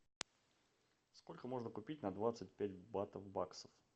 сколько можно купить на двадцать пять батов баксов